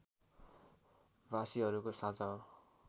भाषीहरूको साझा हो